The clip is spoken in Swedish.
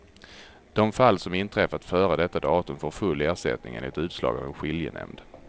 De fall som inträffat före detta datum får full ersättning enligt utslag av en skiljenämnd.